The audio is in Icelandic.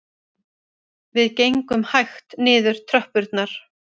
Við gengum hægt niður tröppurnar